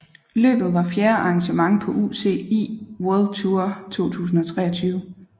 Løbet var fjerde arrangement på UCI World Tour 2023